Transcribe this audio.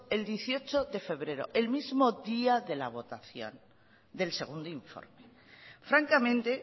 el dieciocho de febrero el mismo día de la votación del segundo informe francamente